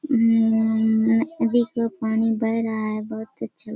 उम्म देखो पानी बढ़ रहा है बहुत अच्छा --